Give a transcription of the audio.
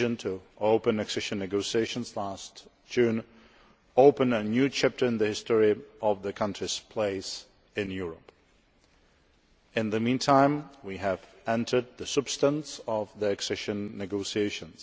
The decision to open accession negotiations last June opened a new chapter in the history of the country's place in Europe. In the meantime we have entered the substantive stage of the accession negotiations.